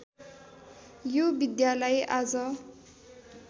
यो विद्यालाई आज